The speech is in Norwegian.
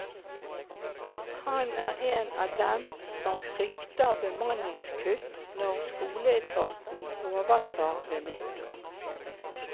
Han er en av dem som frykter bemanningskutt når skoleetaten overtar ved nyttår.